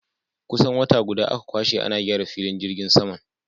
Kusan wata guda aka kwashe ana gyara filin jirgin saman.